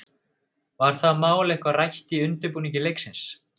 Var það mál eitthvað rætt í undirbúningi leiksins?